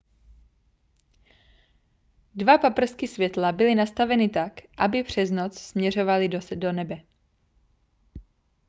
dva paprsky světla byly nastaveny tak aby pře noc směřovaly do nebe